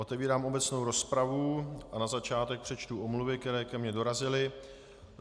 Otevírám obecnou rozpravu, a na začátek přečtu omluvy, které ke mně dorazily.